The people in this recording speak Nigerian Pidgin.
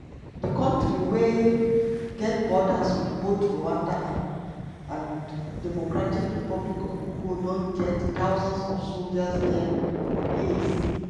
di kontri wey get borders wit both rwanda and and dr congo don get thousands of soldiers dia for years.